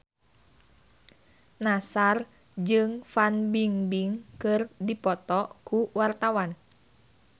Nassar jeung Fan Bingbing keur dipoto ku wartawan